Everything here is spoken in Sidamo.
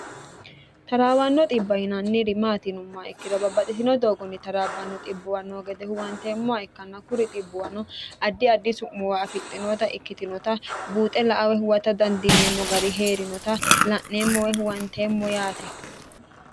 taraawanno dhibbi maati yinummoha ikkiro babbaxitino doogonni taraabbanno xibbowa no gede huwanteemmoha ikkanna hakuri xibbuwano addi addi su'moowa afixxinota ikkitinota buuxe la''a woy huwata dandineemmo gari heerinota la'neemmo woy huwanteemmo yaate